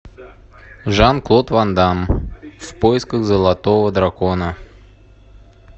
жан клод ван дамм в поисках золотого дракона